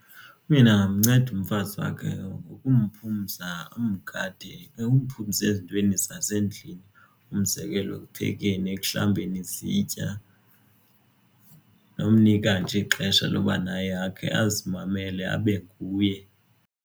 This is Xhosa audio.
Umyeni angamnceda umfazi wakhe ngokumphumza amgade umphumze ezintweni zasendlini umzekelo ekuphekeni ekuhlambeni izitya. Nomnika kanje ixesha loba naye akhe azimamele abe nguye.